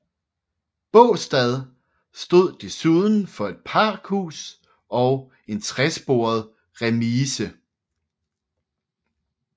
Baastad stod desuden for et pakhus og en tresporet remise